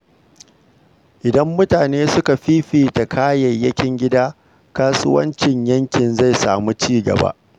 Idan mutane suka fi fifita kayayyakin gida, kasuwancin yankin zai samu ci gaba.